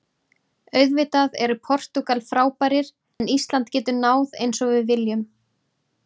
Auðvitað eru Portúgal frábærir en Ísland getur náð eins og við viljum.